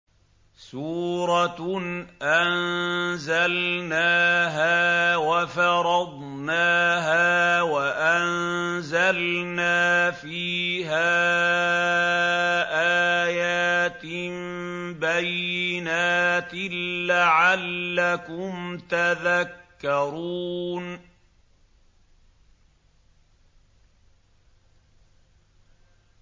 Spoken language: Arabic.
سُورَةٌ أَنزَلْنَاهَا وَفَرَضْنَاهَا وَأَنزَلْنَا فِيهَا آيَاتٍ بَيِّنَاتٍ لَّعَلَّكُمْ تَذَكَّرُونَ